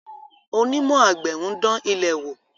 Onímọ̀ àgbẹ̀ ń dán ilẹ̀ wò.